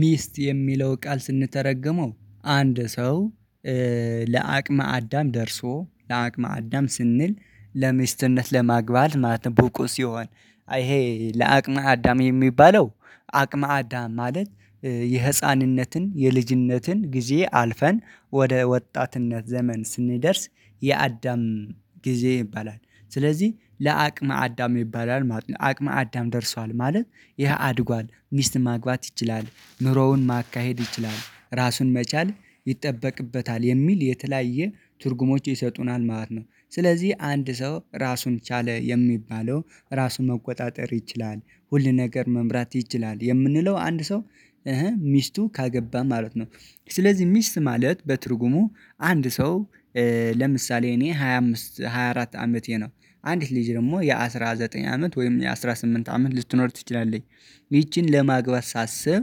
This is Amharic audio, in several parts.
ሚስት የሚለው ቃል ስንተረጉመው አንድ ሰው ለአቅመ አዳም ደርሶ ለአቅመ አዳም ስንል ለሚስትነት ለማግባት ማለትም ብቁ ሲሆን አይ ይሄ ለአቅመ አዳም የሚባለው አቅመ አዳም ማለት የህፃንነትን፣ የልጅነትን ጊዜ አልፈን ወደ ወጣትነት ዘመን ስንደርስ የአዳም ጊዜ ይባላል። ስለዚህ ለአቅመ አዳም ይባላል ማለት ነው። አቅመ አዳም ደርሷል ማለት ይሄ አድጓል ሚስት ማግባት ይችላል፣ ኑሮውን ማካሄድ ይችላል፣ ራሱን መቻል ይጠበቅበታል የሚል የተለያየ ትርጉሞች ይሰጡናል ማለት ነው ስለዚህ አንድ ሰው ራሱን ቻለ የሚባለው ራሱ መቆጣጠር ይችላል ሁል ነገር መምራት ይችላል የምንለው አንድ ሰው ሚስቱን ካገባ ማለት ነው። ስለዚህ ሚስት ማለት በትርጉሙ አንድ ሰው ለምሳሌ እኔ ሃያ አምስት ሃያ አራት አመቴ ነው አንዲት ልጅ ደግሞ የአሥራ ዘጠኝ አመት ወይም የአሥራ ስምንት አመት ልትኖር ትችላለች ይቺን ለማግባት ሳስብ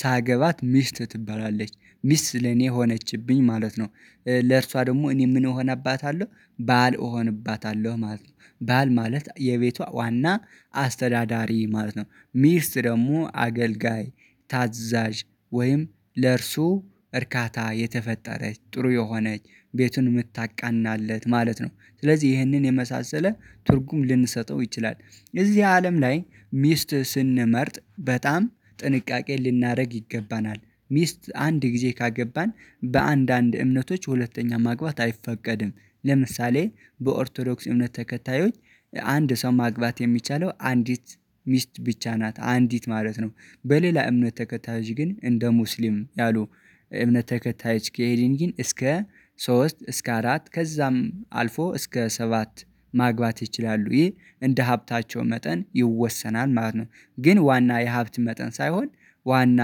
ሳገባት ሚስት ትባላለች ሚስት ለኔ ሆነችብኝ ማለት ነው። ለእርሷ ደግሞ እኔ ምን እሆንባታለሁ ባል እሆንባታለሁ ማለት ነው። ባል ማለት የቤቷ ዋና አስተዳዳሪ ማለት ነው፣ ሚስት ደግሞ አገልጋይ ታዛዥ ወይም ለእርሱ እርካታ የተፈጠረች፣ ጥሩ የሆነች ቤቱን የምታቃናለት ማለት ነው ስለዚህ ይህንን የመሳሰለ ትርጉም ልንሰጠው እንችላለን። እዚህ አለም ላይ ሚስት ስንመርጥ በጣም ጥንቃቄ ልናደርግ ይገባናል። ሚስት አንድ ጊዜ ካገባን በአንድ አንድ እምነቶች ሁለተኛ ማግባት አይፈቀድም፣ ለምሳሌ በኦርቶዶክስ እውነት ተከታዮች አንድ ሰው ማግባት የሚቻለው አንዲት ሚስት ብቻ ናት አንዲት ማለት ነው። በሌላ እምነት ተከታይዎች ግን እንደ ሙስሊም ያሉ እምነት ተከታይዎች ከሄድን ግን እስከ ሶስት እስከ አራት ከዛም አልፎ እስከ ሰባት ማግባት ይችላሉ ይህ እንደ ሀብታቸው መጠን ይወሰናል ማለት ነው። ግን ዋና የሀብት መጠን ሳይሆን ዋና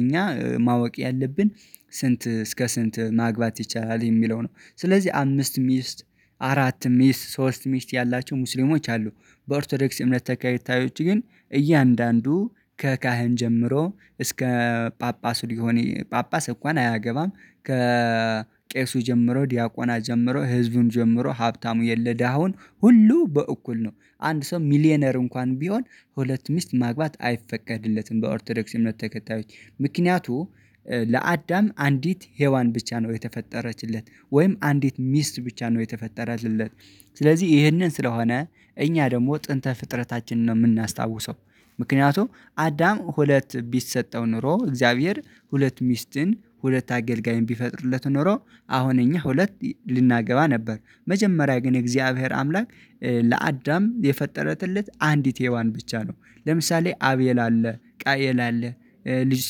እኛ ማወቅ ያለብን ስንት እስከ ስንት ማግባት ይቻላል የሚለው ነው፣ ስለዚህ አምስት ሚስት፣ አራት ሚስት፣ ሶስት ሚስት ያላቸው ሙስሊሞች አሉ፤ በኦርቶዶክስ እምነት ተከይታዮች ግን እያንዳንዱ ከካህን ጀምሮ እስከ ጳጳሱ ሊሆን ጳጳስ እንኳን አያገባም ከቄሱ ጀምሮ ዲያቆናት ጀምሮ ህዝቡን ጀምሮ ሀብታም የለ ደሃው ሁሉ በእኩል ነው። አንድ ሰው ሚሊየነር እንኳን ቢሆን ሁለት ሚስት ማግባት አይፈቀድለትም በኦርቶዶክስ እምነት ተከታዮች ምክንያቱም ለአዳም አንዲት ሄዋን ብቻ ነው የተፈጠረችለት ወይም አንዲት ሚስት ብቻ ነው የተፈጠረለት ስለዚህ ይህንን ስለሆነ እኛ ደግሞ ጥንተ ፍጥረታችንን ነው የምናስታውሰው ምክንያቱም አዳም ሁለት ቢሰጠው ኖሮ እግዚአብሔር ሁለት ሚስትን፣ ሁለት አገልጋይን ቢፈጥርለት ኖሮ አሁን እኛ ሁለት ልናገባ ነበር መጀመሪያ ግን እግዚአብሔር አምላክ ለአዳም የፈጠረለት አንዲት ሄዋን ብቻ ነው ለምሳሌ አቤል አለ፣ ቃኤል አለ፣ ልጅ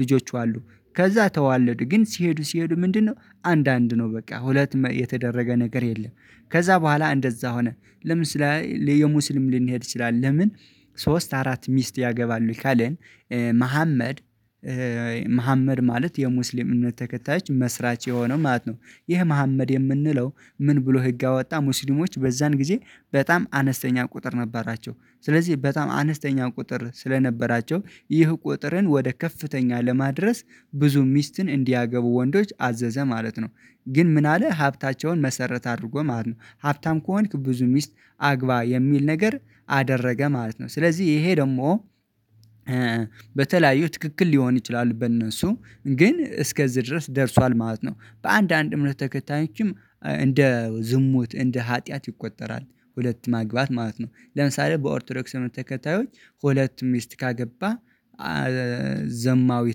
ልጆች አሉ ከዛ ተዋለዱ ግን ሲሄዱ ሲሄዱ ምንድነው አንድ አንድ ነው በቃ ሁለት የተደረገ ነገር የለም ከዛ በኋላ እንደዛ ሆነ ለምሳሌ የሙስሊም ልንሄድ እንችላለን ለምን ሶስት አራት ሚስት ያገባሉ ካለን መሀመድ መሀመድ ማለት የሙስሊም እምነት ተከታዮች መስራች የሆነው ማለት ነው፤ ይህ መሀመድ የምንለው ምን ብሎ ህግ አወጣ ሙሲሊሞች በዛን ጊዜ በጣም አነስተኛ ቁጥር ነበራቸው ስለዚህ በጣም አነስተኛ ቁጥር ስለነበራቸው ይህ ቁጥርን ወደ ከፍተኛ ለማድረስ ብዙ ሚስትን እንዲያገቡ ወንዶችን አዘዘ ማለት ነው። ግን ምን አለ ሀብታቸውን መሰረት አድርጎ ማለት ነው ሀብታም ከሆንክ ብዙ ሚስት አግባ የሚል ነገር አደረገ ማለት ነው፤ ስለዚህ ይሄ ደግሞ በተለያዩ ትክክል ሊሆኑ ይችላሉ በእነሱ ግን እስከዚህ ድረስ ደርሷል ማለት ነው። በአንድ አንድ እምነት ተከታዮችም እንደ ዝሙት እንደ ሀጥያት ይቆጠራል ሁለት ማግባት ማለት ነው ለምሳሌ በኦርቶዶክስ ተከታዮች ሁለት ሚስት ካገባህ ዘማዊ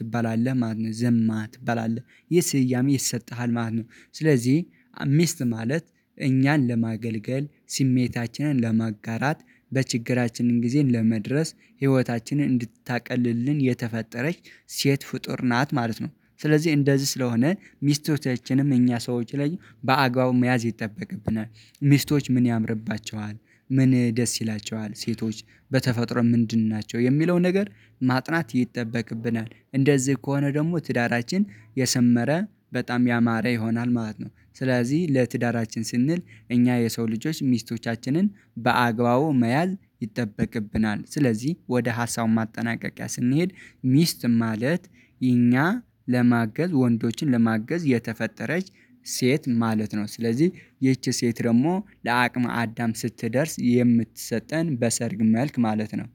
ትባላለህ ማለት ነው ዘማ ትባላለህ ይህ ስያሜ ይሰጥሃል ማለት ነው፤ ስለዚህ ሚስት ማለት እኛን ለማገልገል ስሜታችንን ለመጋራት፣ በችግራችንን ጊዜን ለመድረስ፣ ህይወታችንን እንድታቀልልን፣ የተፈጠረች ሴት ፍጡር ናት ማለት ነው፣ ስለዚህ እንደዚህ ስለሆነ ሚስቶቻችንም እኛ ሰዎች ላይ በአግባቡ መያዝ ይጠበቅብናል። ሚስቶች ምን ያምርባቸዋል፣ ምን ደስ ይላቸዋል፣ ሴቶች በተፈጥሮ ምንድን ናቸው፣ የሚለው ነገር ማጥናት ይጠበቅብናል። እንደዚህ ከሆነ ደግሞ ትዳራችን የሰመረ በጣም ያማረ ይሆናል ማለት ነው ስለዚህ ለትዳራችን ስንል እኛ የሰው ልጆች ሚስቶቻችንን በአግባቡ መያዝ ይጠበቅብናል፤ ስለዚህ ወደ ሀሳቡ ማጠናቀቂያ ስንሄድ ሚስት ማለት እኛን ለማገዝ ወንዶችን ለማገዝ የተፈጠረች ሴት ማለት ነው፣ ስለዚህ ይቺ ሴት ደግሞ ለአቅመ አዳም ስትደርስ የምትሰጠን በሰርግ መልክ ማለት ነው